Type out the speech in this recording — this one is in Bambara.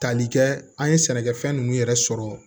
Tali kɛ an ye sɛnɛkɛfɛn ninnu yɛrɛ sɔrɔ